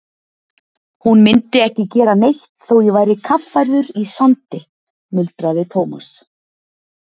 Hún myndi ekki gera neitt þótt ég væri kaffærður í sandi muldraði Thomas.